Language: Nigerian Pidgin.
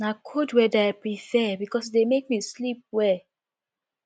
na cold weather i prefer because e dey make me sleep well